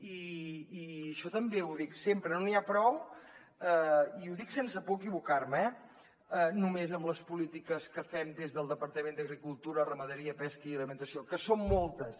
i això també ho dic sempre no n’hi ha prou i ho dic sense por a equivocar me eh només amb les polítiques que fem des del departament d’agricultura ramaderia pesca i alimentació que són moltes